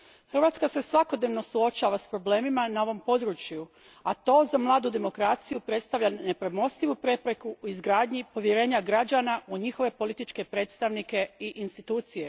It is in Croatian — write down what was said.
Hrvatska se svakodnevno suočava s problemima na ovom području, a to za mladu demokraciju predstavlja nepremostivu prepreku u izgradnji povjerenja građana u njihove političke predstavnike i institucije.